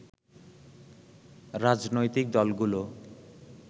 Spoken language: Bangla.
রাজনৈতিক দলগুলো